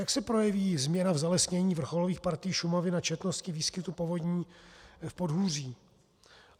Jak se projeví změna v zalesnění vrcholových partií Šumavy na četnosti výskytu povodní v podhůří?